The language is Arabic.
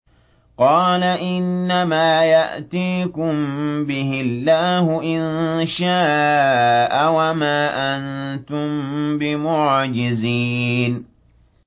قَالَ إِنَّمَا يَأْتِيكُم بِهِ اللَّهُ إِن شَاءَ وَمَا أَنتُم بِمُعْجِزِينَ